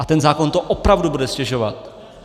A ten zákon to opravdu bude ztěžovat!